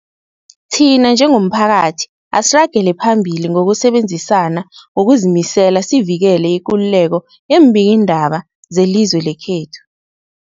Thina njengomphakathi, asiragele phambili ngokusebenzisana ngokuzimisela sivikele ikululeko yeembikiindaba zelizwe lekhethu.